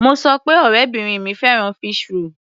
Mo sọ pé ọ̀rẹ́bìrin mi fẹ́ràn fish roll.